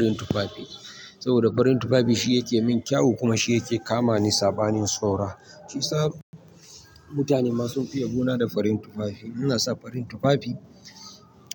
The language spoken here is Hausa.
Farin tufafi. Saboda farin tufafi shi yake min kyau kuma shi yake kama ni saɓanin saura. Shi yasa mutane ma sun fi yabona da farin tufafi. Ina sa farin tufafi,